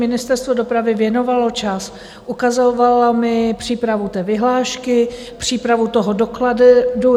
Ministerstvo dopravy věnovalo čas, ukazovalo mi přípravu té vyhlášky, přípravu toho dokladu.